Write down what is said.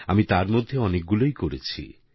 আমি তার মধ্যে অনেকগুলোই করেছি